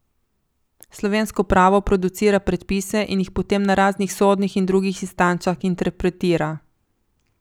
Slovensko pravo producira predpise in jih potem na raznih sodnih in drugih instancah interpretira.